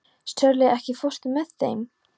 Sörli, ekki fórstu með þeim?